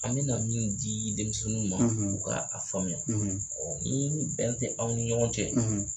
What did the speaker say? An bɛna na min di denmisɛnninw ma u k' a faamuya ni bɛn tɛ aw ni ɲɔgɔn cɛ.